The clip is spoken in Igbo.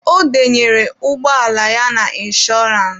Ọ denyere ụgbọala ya na inshọrance.